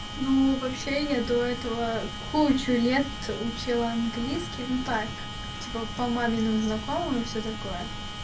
ну вообще я до этого кучу лет учила английский ну так типа по маминым знакомым и всё такое